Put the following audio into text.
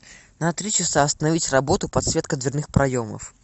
на три часа остановить работу подсветка дверных проемов